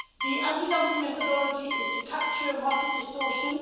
The anti dumping methodology is to capture market distortion